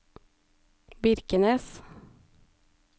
Birkenes